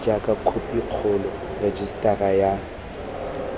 jaaka khophi kgolo rejisetara ya